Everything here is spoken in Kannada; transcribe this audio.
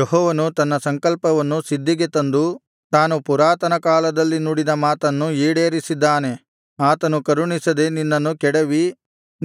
ಯೆಹೋವನು ತನ್ನ ಸಂಕಲ್ಪವನ್ನು ಸಿದ್ಧಿಗೆ ತಂದು ತಾನು ಪುರಾತನಕಾಲದಲ್ಲಿ ನುಡಿದ ಮಾತನ್ನು ಈಡೇರಿಸಿದ್ದಾನೆ ಆತನು ಕರುಣಿಸದೆ ನಿನ್ನನ್ನು ಕೆಡವಿ